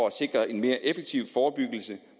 at sikre en mere effektiv forebyggelse